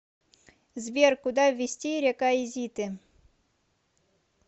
сбер куда ввести рекаизиты